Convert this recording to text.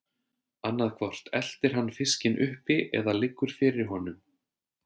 Annað hvort eltir hann fiskinn uppi eða liggur fyrir honum.